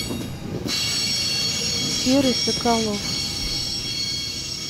серый соколов